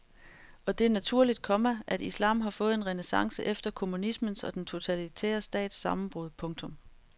Og det er naturligt, komma at islam har fået en renæssance efter kommunismens og den totalitære stats sammenbrud. punktum